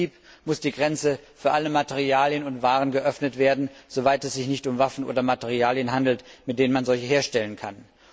im Prinzip muss die Grenze für alle Materialien und Waren geöffnet werden, soweit es sich nicht um Waffen oder Materialien handelt, mit denen man Waffen herstellen kann.